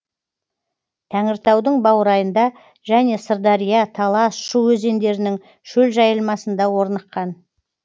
тәңіртаудың баурайында және сырдария талас шу өзендерінің шөл жайылмасында орныққан